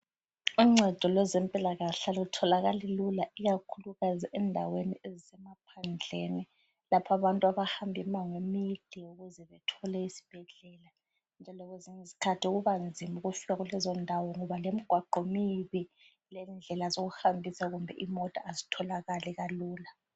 Uncedo lwezempilakahle alutholakali luka ikakhulu endaweni ezise maphandleni lapha bantu abahamba imango emide ukuze bethole isibhedlela, njalo kwezinye zkhathi kubanzima ukufika kulezo ndawo ngoba lemigwaqo mibi lendlela zokuhambisa kumbe imota azithokali kalula.